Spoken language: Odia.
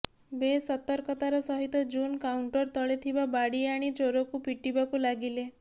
ବେଶ୍ ସତକର୍ତାର ସହିତ ଜୁନ୍ କାଉଣ୍ଟର ତଳେ ଥିବା ବାଡ଼ି ଆଣି ଚୋରକୁ ପିଟିବାକୁ ଲାଗିଲେ